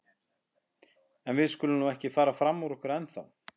En við skulum nú ekki fara fram úr okkur ennþá.